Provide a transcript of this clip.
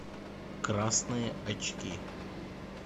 красные очки